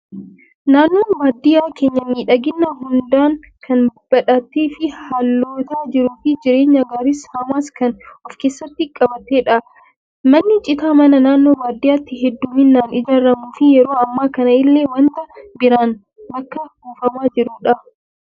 Naannoon baadiyyaa keenyaa, miidhagina hundaan kan badhaatee fi haalota jiruu fi jireenyaa gaariis hamaas kan of keessatti qabatedha. Manni citaa mana naannoo baadiyyaatti hedduminaan ijaaramuu fi yeroo ammaa kana illee waanta biraan bakka buufamaa jirudha.